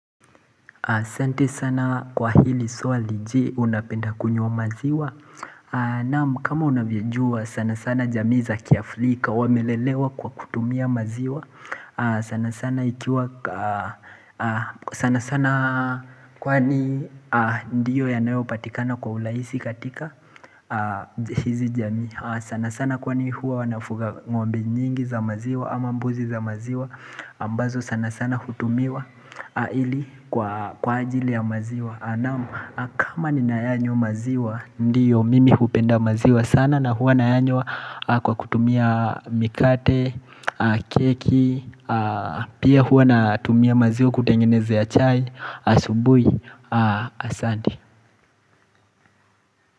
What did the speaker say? Asante sana kwa hili swali je unapenda kunywa maziwa Naam kama unavyojua sana sana jamii za kiafrika wamelelewa kwa kutumia maziwa sana sana kwani ndiyo yanayopatikana kwa urahisi katika hizi jamii sana sana kwa ni huwa wanafuga ng'ombe nyingi za maziwa ama mbuzi za maziwa ambazo sana sana hutumiwa kwa ajili ya maziwa kama ni nayanywa maziwa Ndiyo mimi hupenda maziwa sana na hua nayanywa kwa kutumia mikate, keki Pia hua na tumia maziwa kutengenezea ya chai, asubui, asanti.